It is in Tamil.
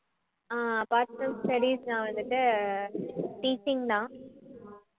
அஹ் apart from studies நான் வந்துட்டு teaching தான்